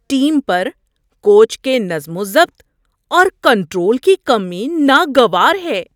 Team پر coach کے نظم و ضبط اور کنٹرول کی کمی ناگوار ہے۔